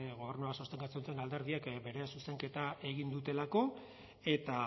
gobernua sostengatzen duten alderdiek bere zuzenketa egin dutelako eta